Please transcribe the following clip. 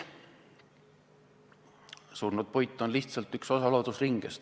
Surnud puit on lihtsalt üks osa loodusringest.